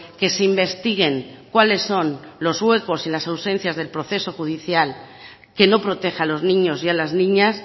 que se investiguen cuales son los huecos y las ausencias del proceso judicial que no proteja a los niños y a las niñas